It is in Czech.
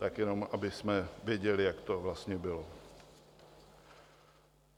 Tak jenom abychom věděli, jak to vlastně bylo.